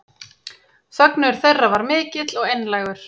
Fögnuður þeirra var mikill og einlægur